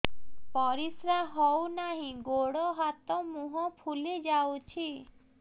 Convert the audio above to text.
ପରିସ୍ରା ହଉ ନାହିଁ ଗୋଡ଼ ହାତ ମୁହଁ ଫୁଲି ଯାଉଛି